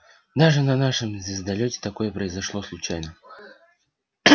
даже на нашем звездолёте такое произошло случайно